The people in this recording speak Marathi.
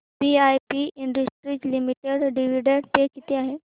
VIP industries limited dividend pay किती आहे